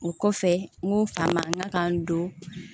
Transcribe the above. O kɔfɛ n k'u fa man ka n don